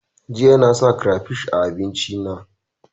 Jiya na sa kirefish a abincin na